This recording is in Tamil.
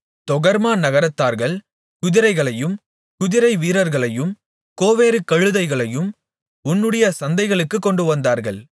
தொகர்மா நகரத்தார்கள் குதிரைகளையும் குதிரைவீரர்களையும் கோவேறுகழுதைகளையும் உன்னுடைய சந்தைகளுக்குக் கொண்டுவந்தார்கள்